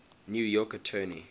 new york attorney